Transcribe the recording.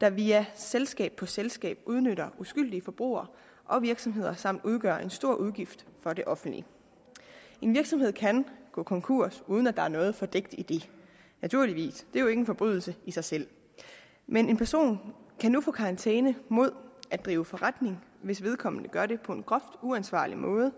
der via selskab på selskab udnytter uskyldige forbrugere og virksomheder samt udgør en stor udgift for det offentlige en virksomhed kan gå konkurs uden at der er noget fordækt i det naturligvis det er jo ikke en forbrydelse i sig selv men en person kan nu få karantæne mod at drive forretning hvis vedkommende gør det på en groft uansvarlig måde